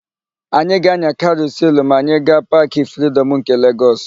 Anyị ga-ányà karusịl ma anyị gaa Paakị Fridọm nke Legọs.